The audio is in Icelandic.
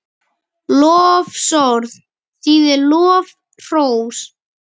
Lofsorð þýðir lof, hrós.